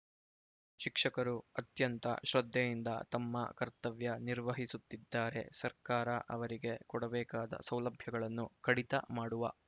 ಶಿಕ್ಷಕರು ಅತ್ಯಂತ ಶ್ರದ್ಧೆಯಿಂದ ತಮ್ಮ ಕರ್ತವ್ಯ ನಿರ್ವಹಿಸುತ್ತಿದ್ದಾರೆ ಸರ್ಕಾರ ಅವರಿಗೆ ಕೊಡಬೇಕಾದ ಸೌಲಭ್ಯಗಳನ್ನು ಕಡಿತ ಮಾಡುವ